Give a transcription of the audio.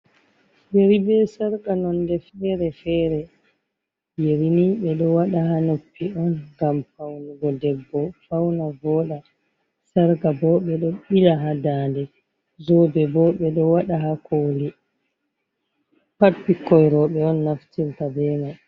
Yeri be sarka nonde feere-feere. Yerinii ɓe ɗo wada haa noppi on ngam paunugo debbo fauna vooɗa. Sarka bo ɓe ɗo ɓila haa ndande, zobe bo ɓe ɗo waɗa haa koli pat ɓikkoi rowɓe on naftirta be mai.